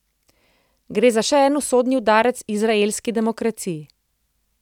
Gre za še en usodni udarec izraelski demokraciji.